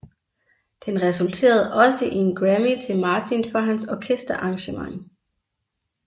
Den resulterede også i en Grammy til Martin for hans orkesterarrangement